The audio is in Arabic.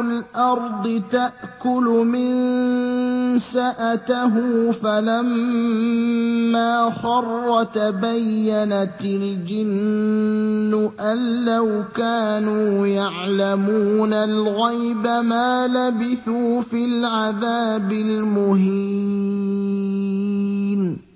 الْأَرْضِ تَأْكُلُ مِنسَأَتَهُ ۖ فَلَمَّا خَرَّ تَبَيَّنَتِ الْجِنُّ أَن لَّوْ كَانُوا يَعْلَمُونَ الْغَيْبَ مَا لَبِثُوا فِي الْعَذَابِ الْمُهِينِ